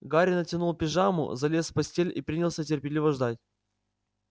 гарри натянул пижаму залез в постель и принялся терпеливо ждать